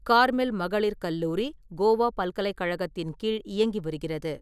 Carmel மகளிர் கல்லூரி கோவா பல்கலைக்கழகத்தின் கீழ் இயங்கிவருகிறது.